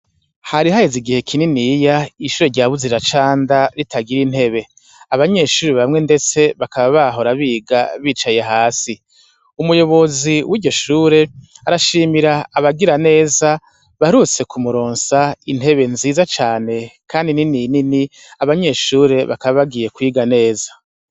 Harihahezi igihe kininiya ishure rya buzira canda ritagira intebe abanyeshuri bamwe, ndetse bakaba bahora biga bicaye hasi umuyobozi w'iryishure arashimira abagira neza barutse kumuronsa intebe nziza cane, kandi nininini abanyeshure bakabagiye iga neza.